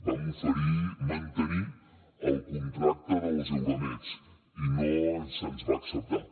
vam oferir mantenir el contracte dels euromeds i no se’ns va acceptar